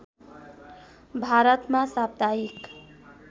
भारतमा साप्ताहिक